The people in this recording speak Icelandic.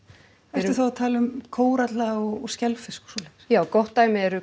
ertu þá að tala um kóralla og skelfisk og svoleiðis já gott dæmi eru